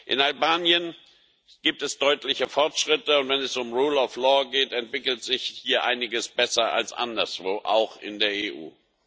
In Albanien gibt es deutliche Fortschritte, und wenn es um Rechtsstaatlichkeit geht, entwickelt sich hier einiges besser als anderswo, auch in der EU.